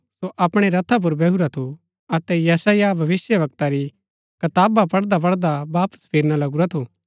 सो अपणै रथा पुर बैहुरा थू अतै यशायाह भविष्‍यवक्ता री कताबा पढ़दा पढ़दा वापस फिरना लगुरा थू